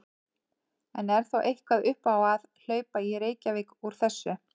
En er þá eitthvað upp á að hlaupa í Reykjavík úr þessu?